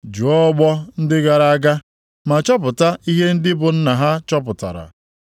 “Jụọ ọgbọ ndị gara aga ma chọpụta ihe ndị bụ nna ha chọpụtara.